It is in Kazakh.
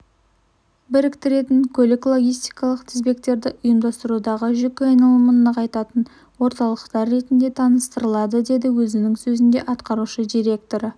біріктіретін көлік-логистикалық тізбектерді ұйымдастырудағы жүк айналымын нығайтатын орталықтар ретінде таныстырылады деді өзінің сөзінде атқарушы директоры